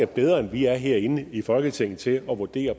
bedre end vi er herinde i folketinget til at vurdere